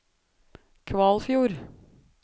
Kvalfjord